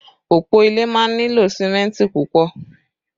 Òpó ilé máa ń nílò símẹ́ntì púpọ̀